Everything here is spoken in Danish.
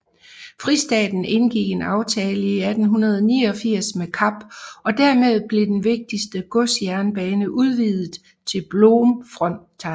Fristaten indgikk en aftale i 1889 med Kap og dermed blev den vigtigste godsjernbane udvidet til Bloemfontein